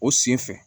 O sen fɛ